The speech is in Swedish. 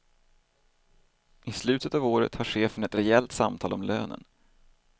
I slutet av året har chefen ett rejält samtal om lönen.